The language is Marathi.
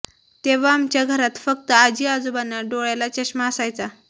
तेंव्हा आमच्या घरात फक्त आजी आजोबांना डोळ्याला चष्मा असायचा